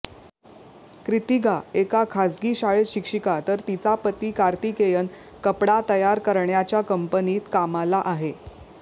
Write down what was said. क्रिथिगा एका खासगी शाळेत शिक्षिका तर तिचा पती कार्तिकेयन कपडा तयार करण्याच्या कंपनीत कामाला आहे